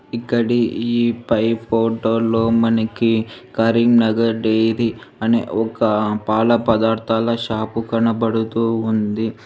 ఇక్కడి ఈ పై ఫోటోలో మనకి కరీంనగర్ డైరీ అనే ఒక పాల పదార్థాల షాపు కనపడుతూ ఉంది.